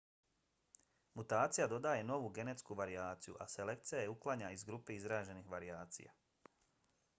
mutacija dodaje novu genetsku varijaciju a selekcija je uklanja iz grupe izraženih varijacija